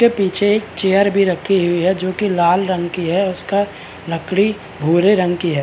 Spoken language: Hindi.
उसके पीछे एक चेयर भी रखी हुई है जो की लाल रंग की उसका लकड़ी भूरे रंग की है।